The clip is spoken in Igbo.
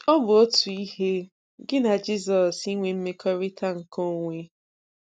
Ọ bụ otu ihe gị na Jizọs inwe mmekọrịta nke onwe.